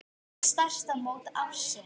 Þetta er stærsta mót ársins.